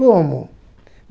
Como?